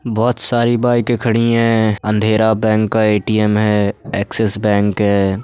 बहुत सारी बाईके खड़ी हैं। अँधेरा बैंक का ए.टी.ऍम है एक्सिस बैंक है।